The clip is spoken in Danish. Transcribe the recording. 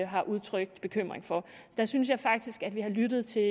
har udtrykt bekymring for der synes jeg faktisk at vi har lyttet til